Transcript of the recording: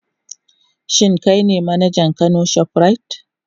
Shin kai ne manajan Kano shoprite?